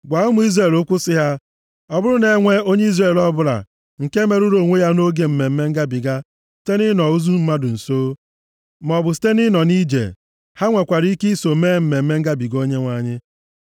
“Gwa ụmụ Izrel okwu sị ha, ‘Ọ bụrụ na e nwee onye Izrel ọbụla nke merụrụ onwe ya nʼoge Mmemme Ngabiga site nʼịnọ ozu mmadụ nso, maọbụ site nʼịnọ nʼije, ha nwekwara ike iso mee Mmemme Ngabiga Onyenwe anyị.